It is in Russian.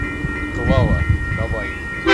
клава давай